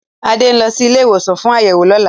Adé ń lọ sí ilé-ìwòsàn fún àyẹ̀wò lọ́la.